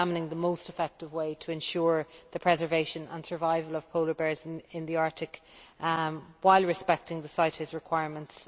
the most effective way to ensure the preservation and survival of polar bears in the Arctic while respecting the CITES requirements.